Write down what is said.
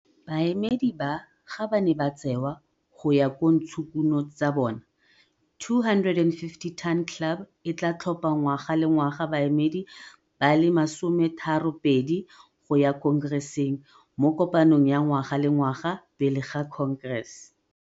Baemedi ba ga ba ne ba tsewa go ya ka ntshokuno tsa bona. 250 Ton Club e tlaa tlhopha ngwaga le ngwaga baemedi ba le masometharopedi go ya Khonkereseng, mo kopanong ya ngwaga le ngwaga pele ga Khonkerese.